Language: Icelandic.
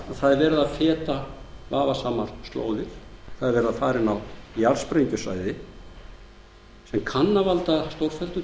verið að feta vafasamar slóðir það er verið að fara inn á jarðsprengjusvæði sem kann að valda stórfelldu